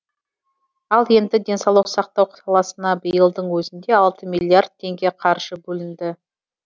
ал енді денсаулық сақтау саласына биылдың өзінде алты миллиард теңге қаржы бөлінді